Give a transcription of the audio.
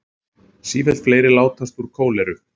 Sífellt fleiri látast úr kóleru